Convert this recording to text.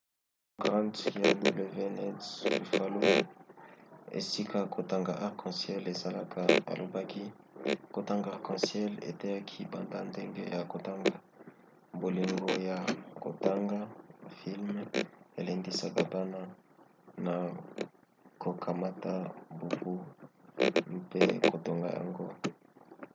john grant ya wned buffalo esika kotanga arc en ciel ezalaka alobaki kotanga arc en ciel eteyaki banda ndenge ya kotanga,... bolingo ya kotanga — [filme] elendisaka bana na kokamata buku mpe kotonga yango.